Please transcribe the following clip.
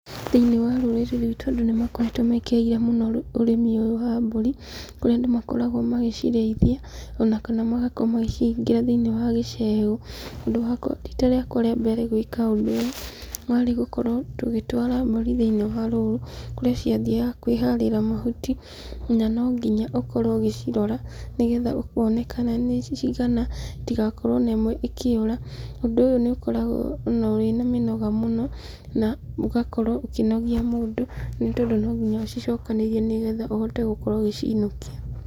Thĩinĩ wa rũrĩrĩ rwitũ andũ nĩ makoretwo mekĩrĩire mũndo ũrĩmi ũyũ wa mbũri, kũrĩa andũ makoragwo magĩcirĩithia, ona kana magakorwo magĩcihingĩra thĩinĩ wa gĩcegũ. Handũ hakwa rita rĩakwa rĩa mbere gwĩka ũndũ ũyũ, warĩ gũkorwo tũgĩtwara mbũri thĩinĩ wa rũru, kũrĩa ciathiaga kwĩharĩra mahuti, na no nginya ũkorwo ũgĩcirora, nĩgetha ũkona kana nĩ cigana, itigakorwo ona ĩmwe ikĩũra, ũndũ ũyũ nĩ ũkoragwo ona wĩna mĩnoga mũno, na ũgakorwo ũkĩnogia mũndũ, nĩ tondũ no nginya ũcicokanĩrĩrie nĩgetha ũhote gũkorwo ũgĩciinũkia.